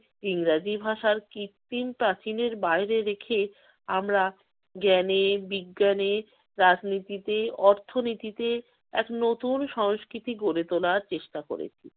ইংরেজি ভাষার কৃত্রিম প্রাচীনের বাহিরে রেখে আমরা জ্ঞানে-বিজ্ঞানে, রাজনীতিতে, অর্থনীতিতে এক নতুন সংস্কৃতি গরে তোলার চেষ্টা করেছি।